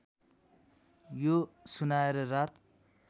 यो सुनाएर रात